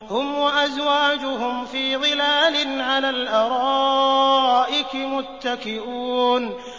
هُمْ وَأَزْوَاجُهُمْ فِي ظِلَالٍ عَلَى الْأَرَائِكِ مُتَّكِئُونَ